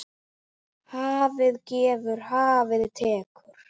Hafið gefur, hafið tekur.